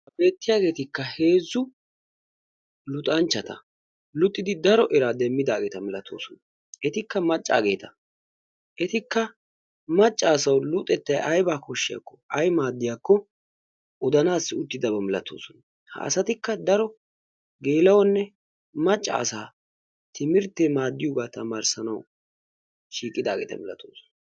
Ha Beettiyaageetikka heezzu luxanchchata. l Luxidi daro eraa demmidaageeta malaatoosona. Etikka maccageeta. Eikka macca asaw luxetta aybba koshshiyaakko aybba maddiyaakko odanaw uttidaaba malatoosona. Ha asatikka daro geela''onne maccassa timirtte maaddiyooga tamarissanaw shiiqidaageeta malatoosona